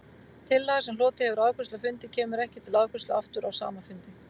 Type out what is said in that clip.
Tillaga, sem hlotið hefur afgreiðslu á fundi, kemur ekki til afgreiðslu aftur á sama fundi.